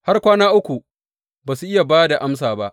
Har kwana uku ba su iya ba da amsa ba.